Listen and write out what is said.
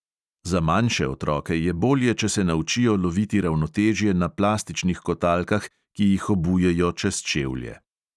Za manjše otroke je bolje, če se naučijo loviti ravnotežje na plastičnih kotalkah, ki jih obujejo čez čevlje.